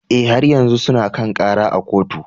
Eh, har yanzu suna kan kara a kotu.